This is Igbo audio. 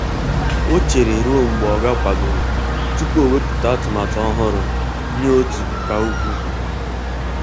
Ọ chere ruo mgbe oga kwadoro tupu ọ ewepụta atụmatụ ọhụrụ nye otu ka ukwuu.